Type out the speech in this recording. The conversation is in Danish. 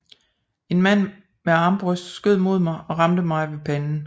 En mand med armbrøst skød mod mig og ramte mig ved panden